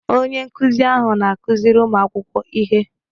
Onye nkuzi ahụ na-akụziri ụmụ akwụkwọ ihe.